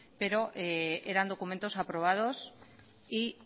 pero eran documentos aprobados y